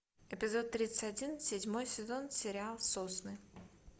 эпизод тридцать один седьмой сезон сериал сосны